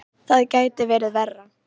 Það gæti verið verra.